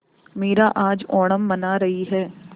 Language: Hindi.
मीरा आज ओणम मना रही है